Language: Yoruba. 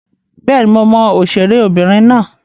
Bẹ́ẹ̀ni, mo mọ òṣèré obìnrin náà